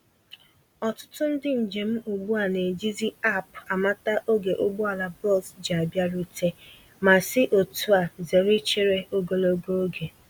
Ọtụtụ ndị njem ugbu a na-eji zi App amata ógè ụgbọala bọs ji abịarute, ma si otúa zere ichere ogologo oge.